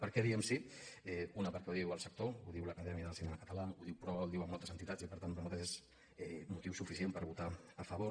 per què hi diem que sí una perquè ho diu el sector ho diu l’acadèmia del cinema català ho diu proa ho diuen moltes entitats i per tant per nosaltres és motiu suficient per votar hi a favor